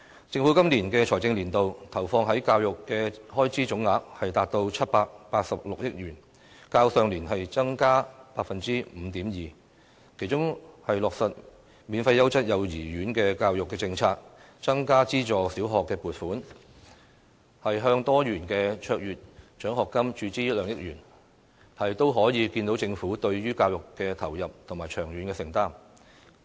政府今個財政年度，投放在教育的開支總額，達到786億元，較上年度增加 5.2%， 其中落實免費優質幼稚園教育政策、增加資助小學撥款，向多元卓越獎學金注資2億元，可見政府對於教育的投入和長遠承擔。